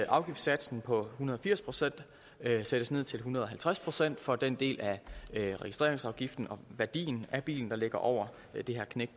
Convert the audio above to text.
afgiftssatsen på hundrede og firs procent sættes ned til en hundrede og halvtreds procent for den del af registreringsafgiften og værdien af bilen der ligger over det her knæk